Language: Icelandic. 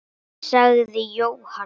sagði Jóhann.